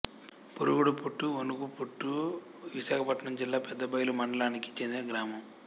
పురుగుడుపుట్టు వణుగుపుట్టు విశాఖపట్నం జిల్లా పెదబయలు మండలానికి చెందిన గ్రామం